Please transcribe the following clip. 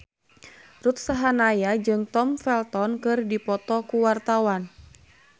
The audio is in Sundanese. Ruth Sahanaya jeung Tom Felton keur dipoto ku wartawan